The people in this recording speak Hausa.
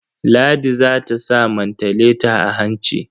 Ladi za ta sa mantaleta a hanci.